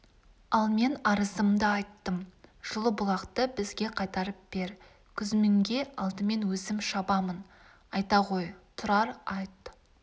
ал мен арызымды айттым жылы-бұлақты бізге қайтарып бер күзмінге алдымен өзім шабамын айта ғой тұрар айт